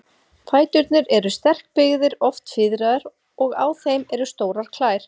Fæturnir eru sterkbyggðir, oft fiðraðir, og á þeim eru stórar klær.